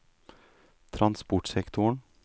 transportsektoren